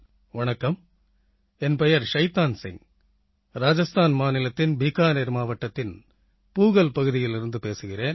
வணக்கம் என் பெயர் ஷைத்தான் சிங் ராஜஸ்தான் மாநிலத்தின் பீகானீர் மாவட்டத்தின் பூகல் பகுதியிலிருந்து பேசுகிறேன்